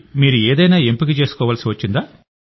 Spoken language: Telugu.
మీరు ఏదైనా ఎంపిక చేసుకోవాల్సివచ్చిందా